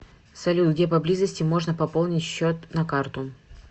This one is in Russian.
салют где поблизости можно пополнить счет на карту